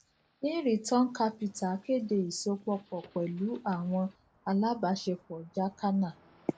in return capital kede isopọpọ pẹlu awọn alabaṣepọ jacana